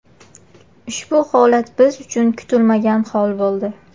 Ushbu holat biz uchun kutilmagan hol bo‘ldi.